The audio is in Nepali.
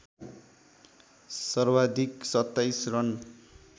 सर्वाधिक २७ रन